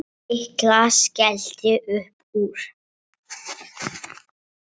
Lilla skellti upp úr.